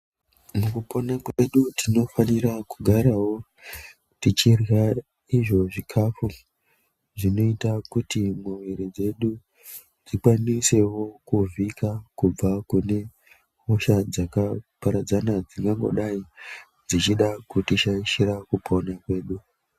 Mukupona kwedu tinofanira kugarawo tichirya izvo zvikafu zvinoita kuti muviri dzedu dzikwanisewo kuvhika kubva kune hosha dzaka paradzana dzinongodai dzichida kushaishira kupona kwedu.